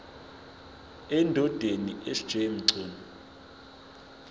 endodeni sj mchunu